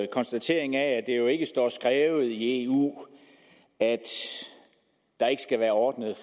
konstatering af at det jo ikke står skrevet i eu at der ikke skal være ordnede